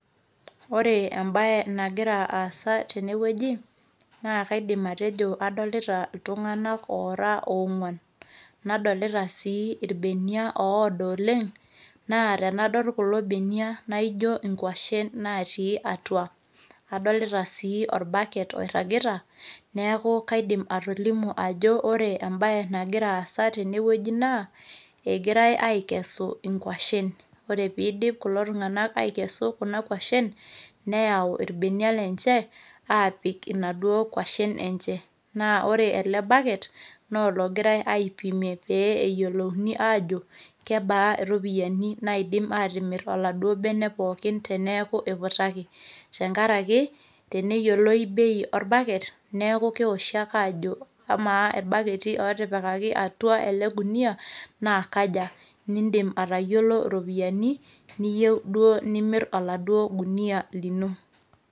Ore embae nagira aasa tenewueji, naa kaidim atejo adolita iltung'ana oora oong'uan, nadolita sii ilbenia oodo oleng', naa tenadol kulo benia naijo inkuashen naatii atua. Adolita sii  olbaket oirragita neaku kaidim sii atolimu ajo ore embae nagira aasa tenewueji naa egirai aikesu inkuashin. Oree peeidip kulo tung'anak aikesu kuna kuashin neyau ilbenia lenje aapik inaduo kuashin enje. Naa ore ele baket noologirai aipimie pee eyielouni aajo kebaa iropiyani naaidim aatimirr oladuoo bene pookin teneaku eiputaki, tengarake teneyoloi bei olbaket neaku keoshi ake aajo amaa ilbaketi otipikaki atua ele  gunia naa kaja, nindim atayiolo iropiyani niyou duo nimirr oladuo gunia lino.